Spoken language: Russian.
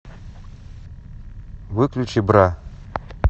выключи бра